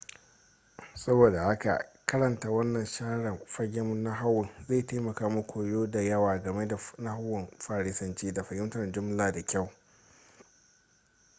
saboda haka karanta wannan share fagen nahawun zai taimaka muku koya da yawa game da nahawun farisanci da fahimtar jumla da kyau